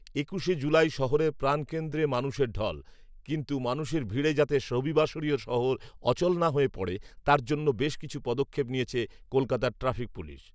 একুশে জুলাই শহরের প্রাণকেন্দ্রে মানুষের ঢল। কিন্তু মানুষের ভিড়ে যাতে রবিবাসরীয় শহর অচল না হয়ে পড়ে, তার জন্য বেশ কিছু পদক্ষেপ নিয়েছে কলকাতা ট্রাফিক পুলিশ।